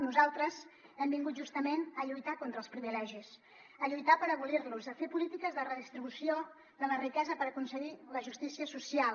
nosaltres hem vingut justament a lluitar contra els privilegis a lluitar per abolir los a fer polítiques de redistribució de la riquesa per aconseguir la justícia social